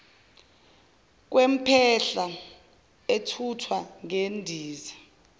kwempahla ethuthwa ngendiza